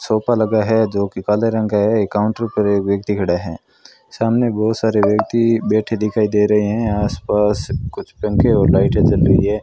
Sofa लगा है जो कि काले रंग का है काउंटर पर एक व्यक्ति खड़ा हैं सामने बहुत सारे व्यक्ति बैठे दिखाई दे रहे हैं आस पास कुछ पंखे और लाइटे जल रही है।